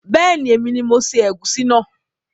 Beeni, èmi ni mo se ègúsí náà